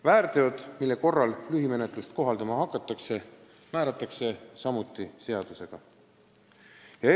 Väärteod, mille korral lühimenetlust kohaldama hakatakse, pannakse seaduses kirja.